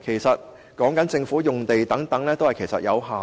不過，所涉及的地方其實有限。